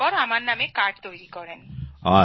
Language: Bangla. তারপর আমার নামে কার্ড তৈরি করেন